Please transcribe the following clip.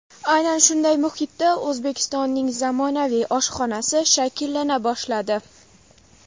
Aynan shunday muhitda O‘zbekistonning zamonaviy oshxonasi shakllana boshladi.